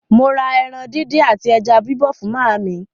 Mo rà ẹran díndín àti ẹja bíbọ̀ fún màámi.